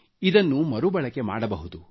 ಇದನ್ನು ಮರುಬಳಕೆ ಮಾಡಬಹುದು